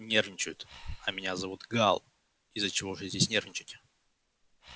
нервничают а меня зовут гаал из-за чего же здесь нервничать